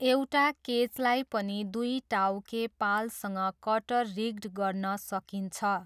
एउटा केचलाई पनि दुई टाउके पालसँग कटर रिग्ड गर्न सकिन्छ।